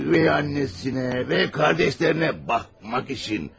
Özü anasına və qardaşlarına baxmaq üçün.